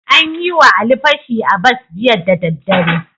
An yi wa Ali fashi a bas jiya daddadare.